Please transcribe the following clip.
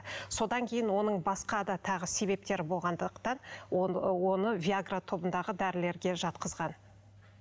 содан кейін оның басқа да тағы себептері болғандықтан оны виагра тобындағы дәрілерге жатқызған